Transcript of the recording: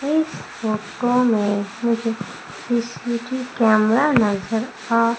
इस फोटो में मुझे सी_सी_टी_वी कैमरा नजर आ--